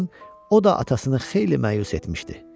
o da atasını xeyli məyus etmişdi.